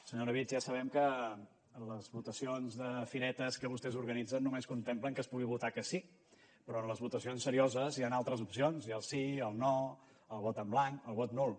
senyor orobitg ja sabem que en les votacions de firetes que vostès organitzen només contemplen que es pugui votar que sí però en les votacions serioses hi han altres opcions hi ha el sí el no el vot en blanc el vot nul